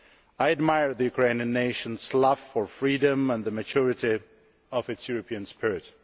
I admire the Ukrainian nation's love for freedom and the maturity of its European spirit.